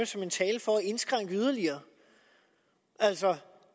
som en talen for at indskrænke yderligere altså